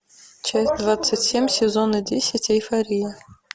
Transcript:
часть двадцать семь сезона десять эйфория